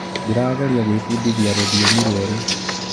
Ndĩrageria gwĩbundithia rũthiomi rwerũ.